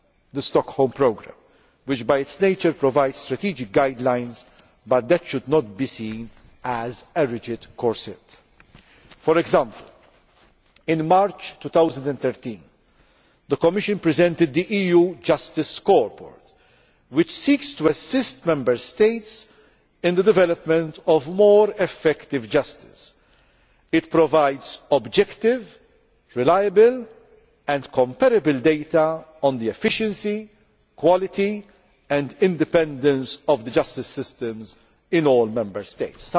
has even gone beyond the Stockholm Programme, which by its nature provides strategic guidelines. But that should not be seen as a rigid corset. For example, in March 2013 the Commission presented the EU Justice Scoreboard, which seeks to assist Member States in the development of more effective justice. It provides objective, reliable and comparable data on the efficiency, quality and independence of the justice systems